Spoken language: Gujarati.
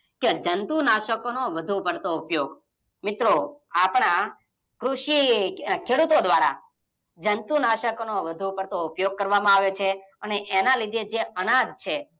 જંતુ નાસ્કોનો વધુ પડતો ઉપયોગ. મિત્રો આપણા કૃષિ, ખેડૂતો દ્વારા જંતુ નાસ્કોનો વધુ પડતો ઉપયોગ કરવા માં આવે છે, અને એના લીધે જે અનાજ છે,